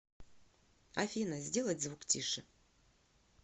афина сделать звук тише